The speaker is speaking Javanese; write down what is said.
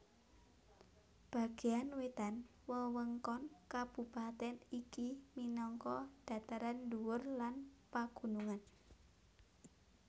Bagéan wétan wewengkon kabupatèn iki minangka dhataran dhuwur lan pagunungan